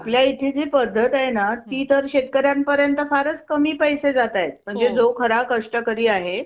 आणि आपल्या इथं जी पद्धत हाय ना ती तर शेतकऱ्यापर्यंत फारचं कमी पैसे जातात. जो खरा कष्टकरी आहे.